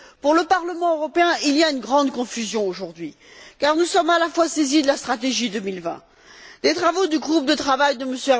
Pour le Parlement européen, il y a une grande confusion aujourd'hui, car nous sommes à la fois saisis de la stratégie Europe 2020, des travaux du groupe de travail de M.